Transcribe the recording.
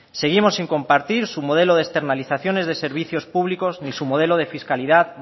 seguimos sin compartir su modelo de externalizaciones de servicios públicos ni su modelo de fiscalidad